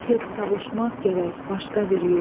Tez savuşmaq gərək başqa bir yurda.